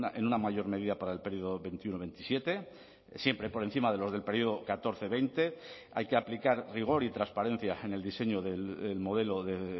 en una mayor medida para el período veintiuno veintisiete siempre por encima de los del período catorce veinte hay que aplicar rigor y transparencia en el diseño del modelo de